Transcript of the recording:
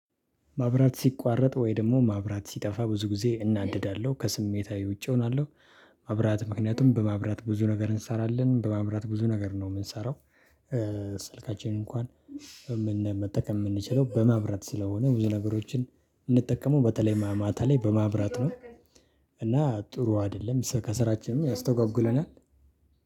ማብራት ሲቋረጥ ወይ ደሞ ማብራት ሲጠፋ ብዙ ጊዜ እናደዳለው ከስሜታዊ ውጪ እሆናለው። ማብራት ምክንያቱም በማብራት ብዙ ነገር እንሰራለን በማብራት ብዙ ነገር ነው የምንሰራው። ስልካችንን እንኳን መጠቀም የምንችለው በማብራት ስለሆነ ብዙ ነገሮችን ምንጠቀመው በተለይ ማታ ላይ በማብራት ነው። እና ጥሩ አይደለም ከስራችንም ያስተጓጉለናል።